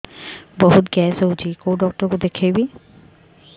ବହୁତ ଗ୍ୟାସ ହଉଛି କୋଉ ଡକ୍ଟର କୁ ଦେଖେଇବି